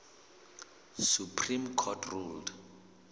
supreme court ruled